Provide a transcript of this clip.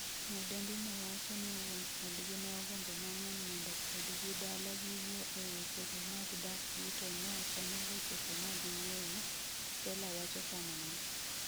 Nyadendi no wacho ni wuon odgi neogombo mang'eny mondo odgi dala giwuo e weche go mag dakgi to neokonyalo chopo magiwuoyo, Stella wacho kamano.